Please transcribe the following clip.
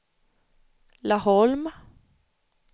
Laholm